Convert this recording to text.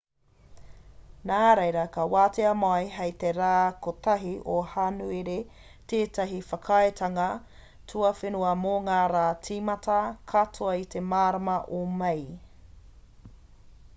nā reira ka wātea mai hei te rā 1 o hānuere tētahi whakaaetanga tuawhenua mō ngā rā tīmata katoa i te marama o mei